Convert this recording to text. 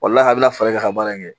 O lahala bɛ na f'e ka ka baara in kɛ